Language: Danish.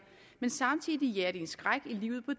men samtidig jager de en skræk i livet på